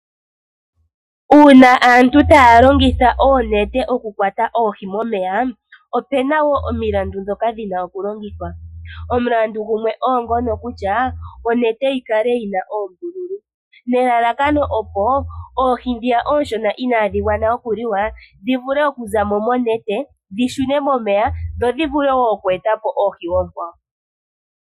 Uuna aantu taya longitha oonete oku kwata oohi momeya, omilandu dhoka haya longitha odha yooloka. Omulandu gumwe oongono kutya onete yikale yina oombululu nelalakano oohi ooshona inaadhi adha okuliwa dhi vule okuza mo monete dhishune momeya, dho dhivule woo oku eta po oohi oonkwawo.